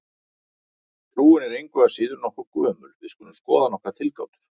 Trúin er engu að síður nokkuð gömul og við skulum skoða nokkrar tilgátur.